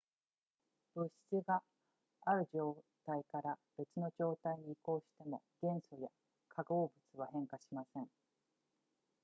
物質がある状態から別の状態に移行しても元素や化合物は変化しません